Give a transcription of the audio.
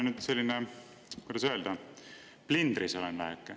Ma olen, kuidas öelda, väheke plindris.